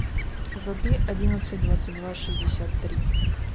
вруби одиннадцать двадцать два шестьдесят три